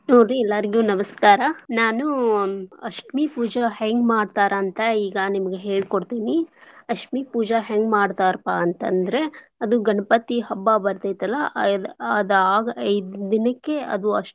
ನೋಡಿ ಎಲ್ಲಾರ್ಗೂ ನಮಸ್ಕಾರ. ನಾನೂ ಅಸ್ಟ್ಮಿ ಪೂಜಾ ಹೆಂಗ್ ಮಾಡ್ತಾರ ಅಂತ್ ಈಗ ನಿಮ್ಗೆ ಹೇಳಿ ಕೊಡ್ತೇನಿ. ಅಸ್ಟ್ಮಿ ಪೂಜಾ ಹೆಂಗ್ ಮಾಡ್ತಾರ್ಪಾ ಅಂತಂದ್ರ ಅದು ಗಣಪತಿ ಹಬ್ಬಾ ಬರ್ತೇತಲ್ಲಾ ಅದ್ ಆಗ್ ಐದ್ ದಿನಕ್ಕೆ ಅದು ಅಸ್ಟ್ಮಿ.